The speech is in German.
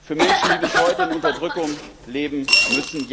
für Menschen, die bis heute in Unterdrückung leben müssen.